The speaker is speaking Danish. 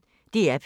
DR P1